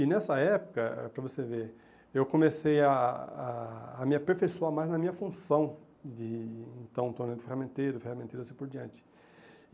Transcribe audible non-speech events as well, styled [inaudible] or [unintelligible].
E nessa época, eh para você ver, eu comecei a a a me aperfeiçoar mais na minha função de então [unintelligible] ferramenteiro, ferramenteiro e assim por diante.